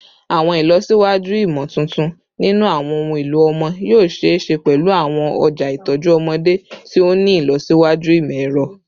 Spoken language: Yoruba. Awọn ilọsiwaju imotuntun ninu awọn ohun elo ọmọ yoo ṣee ṣe pẹlu awọn ọja itọju ọmọde ti o ni ilọsiwaju imọ-ẹrọ